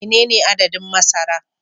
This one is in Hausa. Menene adadin masara